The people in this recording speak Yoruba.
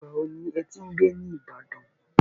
Ìgbà wo ni ẹ ti ń gbé ní ìbàdàn